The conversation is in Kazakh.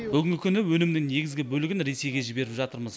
бүгінгі күні өнімнің негізгі бөлігін ресейге жіберіп жатырмыз